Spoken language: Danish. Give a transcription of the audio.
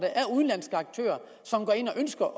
ønsker at